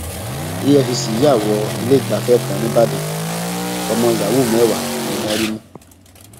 efcc yà wọ ilé ìgbafẹ kan nìbàdàn ọmọ yahoo mẹwàá ni wọn rí mú